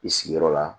I sigiyɔrɔ la